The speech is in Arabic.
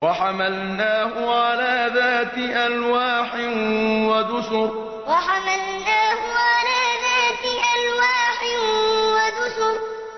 وَحَمَلْنَاهُ عَلَىٰ ذَاتِ أَلْوَاحٍ وَدُسُرٍ وَحَمَلْنَاهُ عَلَىٰ ذَاتِ أَلْوَاحٍ وَدُسُرٍ